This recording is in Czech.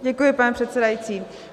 Děkuji, pane předsedající.